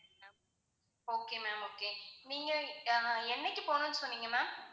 okay ma'am okay நீங்க அஹ் என்னைக்கு போகணும்னு சொன்னீங்க ma'am